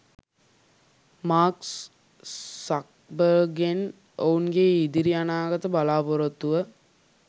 Mark සක්බර්ග්ගෙන් ඔවුන්ගේ ඉදිරි අනාගත බලාපොරොත්තුව